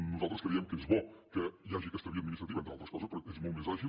nosaltres creiem que és bo que hi hagi aquesta via administrativa entre altres coses perquè és molt més àgil